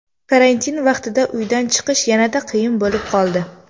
Karantin vaqtida uydan chiqish yanada qiyin bo‘lib qoldi.